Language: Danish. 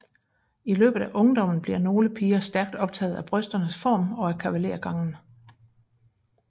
I løbet af ungdommen bliver nogle piger stærkt optaget af brysternes form og af kavalergangen